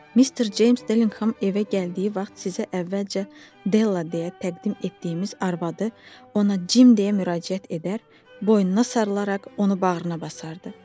Mr. James Dillingham evə gəldiyi vaxt sizə əvvəlcə Della deyə təqdim etdiyimiz arvadı ona Jim deyə müraciət edər, boynuna sarılaraq onu bağrına basardı.